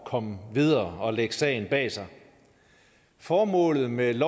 komme videre og lægge sagen bag sig formålet med